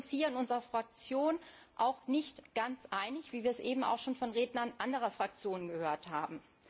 Wir sind uns hier in unserer Fraktion auch nicht ganz einig wie wir es eben auch schon von Rednern anderer Fraktionen gehört haben.